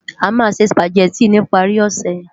Amá nsé Sùpágèti nipári òsè